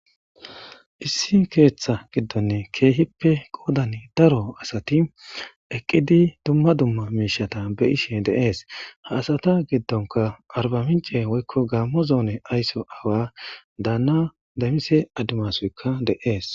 issi keeththa giddonne keehippe qoodani daro asati eqqidi dumma dumma miishata be ishe deees haasata giddonka arba mince woykko gaammo zoone aysso awa daanna damise adimasoykka deees